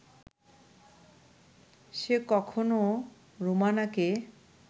সে কখনো রোমানাকে